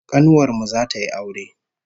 Kanuwar mu zata yi aure